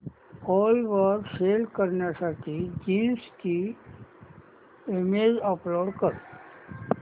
ओला वर सेल करण्यासाठी जीन्स ची इमेज अपलोड कर